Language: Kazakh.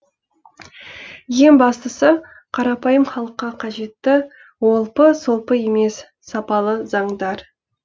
ең бастысы қарапайым халыққа қажетті олпы солпы емес сапалы заңдар